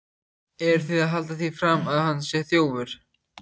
Eruð þið að halda því fram að hann sé þjófur!